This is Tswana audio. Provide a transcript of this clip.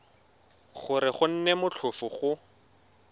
gore go nne motlhofo go